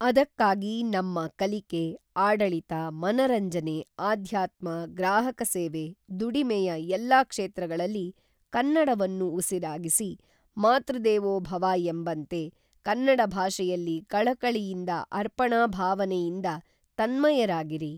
ಅದಕ್ಕಾಗಿ ನಮ್ಮ ಕಲಿಕೆ, ಆಡಳಿತ, ಮನರಂಜನೆ ಅಧ್ಯಾತ್ಮ, ಗ್ರಾಹಕ ಸೇವೆ, ದುಡಿಮೆಯ ಎಲ್ಲ ಕ್ಷೇತ್ರಗಳಲ್ಲಿ ಕನ್ನಡವನ್ನು ಉಸಿರಾಗಿಸಿ, ಮಾತೃದೇವೋ ಭವ ಎಂಬಂತೆ ಕನ್ನಡ ಭಾಷೆಯಲ್ಲಿ ಕಳಕಳಿಯಿಂದ ಅರ್ಪಣಾ ಭಾವನೆಯಿಂದ ತನ್ಮಯರಾಗಿರಿ.